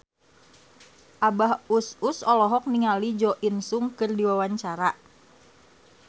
Abah Us Us olohok ningali Jo In Sung keur diwawancara